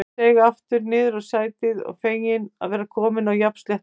Ég seig aftur niður á sætið, feginn að vera kominn á jafnsléttu.